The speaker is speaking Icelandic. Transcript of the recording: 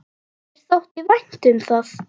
Mér þótti vænt um það.